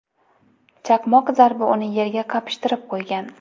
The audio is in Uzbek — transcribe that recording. Chaqmoq zarbi uni yerga qapishtirib qo‘ygan.